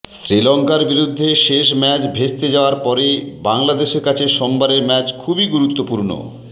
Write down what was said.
শ্রীলঙ্কার বিরুদ্ধে শেষ ম্যাচ ভেস্তে যাওয়ার পরে বাংলাদেশের কাছে সোমবারের ম্যাচ খুবই গুরুত্বপূর্ণ